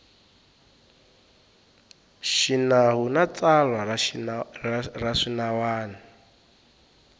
xinawu na tsalwa ra swinawana